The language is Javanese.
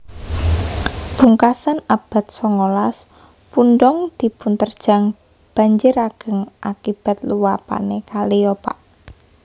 Pungkasan abad songolas pundong dipunterjang banjir ageng akibat luapane kaliopak